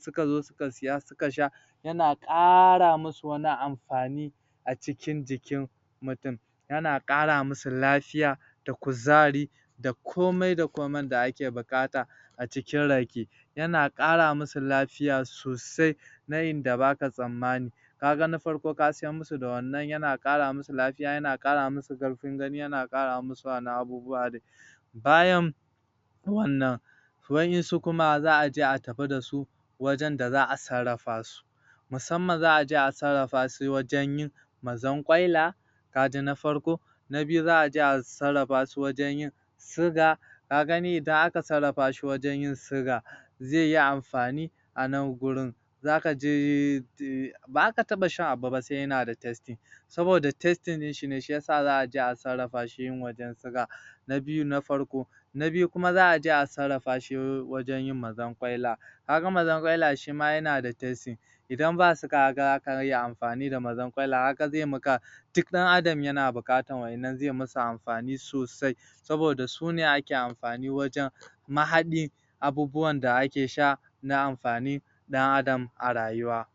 suka zo suka siya suka sha yana ƙara musu wani amfani a cikin jikin mutum yana ƙara musu lafiya da kuzari da komai da komai da ake buƙata a cikin rake yana ƙara musu lafiya sosai na inda baka tsammani kaga na farko ka siya musu da wannan yana ƙara musu lafiya yana ƙara musu ƙarfin gani yana ƙara musu wasu abubuwa dai bayan wannan wa'insu kuma za a je a tafi da su wajen da za a sarrafa su musamman za a je a sarrafa su wajen yin mazarƙwaila kaji na farko na biyu za a je a sarrafa su wajen yin suga kaga idan aka sarafa shi a wajen yin suga zai yi amfani a nan gurin zaka je um baza ka taɓa shan wani abu ba sai yana da tasting (ɗanɗano) saboda tasting ɗinshi ne za aje a sarrafa shi wajen yin suga na biyu na farko na biyu za a je a sarrafa shi wajen yin mazarƙwaila ka ga mazarkwaila shima yana da tasting idan ba suga kaga za ka iya amfani da mazarƙwaila kaga zai maka duk ɗan adam yana buƙatar wa'innan zai musu amfani sosai saboda sune ake amfani wajen mahaɗi abubuwan da ake sha na amfanin ɗan adam a rayuwa